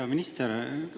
Hea minister!